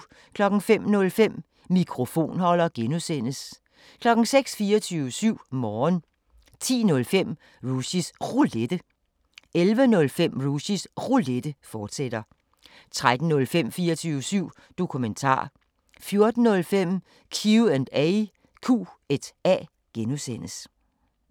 05:05: Mikrofonholder (G) 06:00: 24syv Morgen 10:05: Rushys Roulette 11:05: Rushys Roulette, fortsat 13:05: 24syv Dokumentar 14:05: Q&A (G)